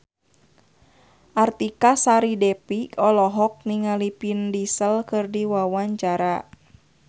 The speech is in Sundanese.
Artika Sari Devi olohok ningali Vin Diesel keur diwawancara